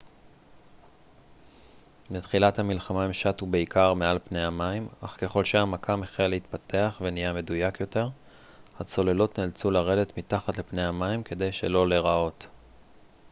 בתחילת המלחמה הן שטו בעיקר מעל פני המים אך ככל שהמכ ם החל להתפתח ונהיה מדויק יותר הצוללות נאלצו לרדת מתחת לפני המים כדי שלא להיראות